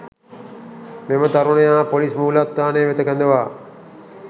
මෙම තරුණයා පොලිස්‌ මූලස්‌ථානය වෙත කැඳවා